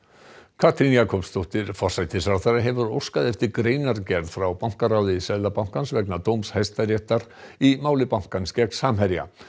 Katrín Jakobsdóttir forsætisráðherra hefur óskað eftir greinargerð frá bankaráði Seðlabankans vegna dóms Hæstaréttar í máli bankans gegn Samherja